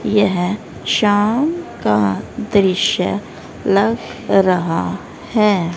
यह शाम का दृश्य लग रहा हैं।